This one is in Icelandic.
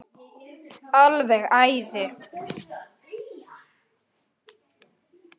Alveg æði.